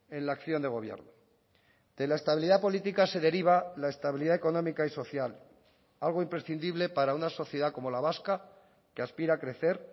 en la acción de gobierno de la estabilidad política se deriva la estabilidad económica y social algo imprescindible para una sociedad como la vasca que aspira a crecer